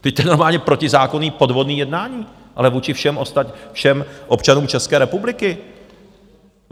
Vždyť to je normálně protizákonné, podvodné jednání - ale vůči všem občanům České republiky.